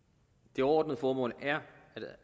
det overordnede formål er